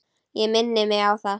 Ég minni mig á það.